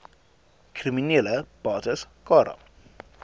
kriminele bates cara